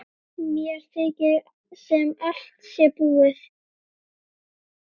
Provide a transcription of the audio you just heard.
Mér þykir sem allt sé búið.